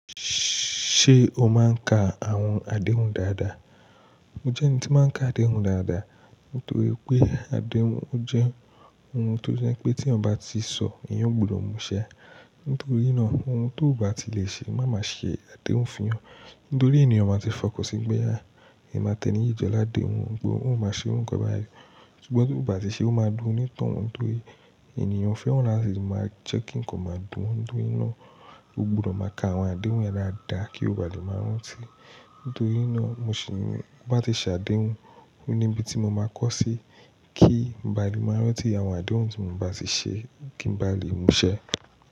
Ṣé o máa ń ka àwọn àdéhùn dáadáa? Mo jẹ́ ẹni tí máa ń ka àdéhùn dáadáa, nítorí pé àdéhùn jẹ́ ohun tó jẹ́ pé tí eeyan bá ti sọ, eeyàn gbudọ̀ múṣẹ. Nítorí náà, ohun tó ò bá ti lè ṣe, má máa ṣe àdéhùn fún ìyàn. Nítorí ènìyàn máa ti fọkàn sí i pe à. Ẹmi ati tẹ́ni yí jọ ládèhùn, gbó óun máa ṣe o'runkan bayii. Sugbọn tó ò bá ti ṣe, ó máa dùn ún onitoun, torí ènìyàn o fẹ́ran lati máa jẹ́ kí n kò máa dùn ún. Nítorí náà, ó gbudọ̀ máa ka àwọn àdéhùn dáadáa kí ó bá lè máa rántí. Nítorí náà, mo sì ní bá ti ṣe àdéhùn, ó ní ibi tí mo máa kọ́ sí kí n ba lè máa rántí àwọn àdéhùn tí mo bá ti ṣe kí n ba lè múṣẹ.